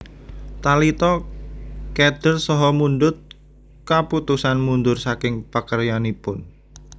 Talita kéder saha mundhut kaputusan mundhur saking pakaryananipun